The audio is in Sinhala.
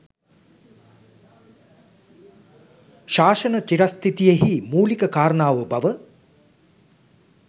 ශාසන චිරස්ථිතියෙහි මූලික කාරණාව බව